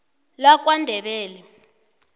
lakwandebele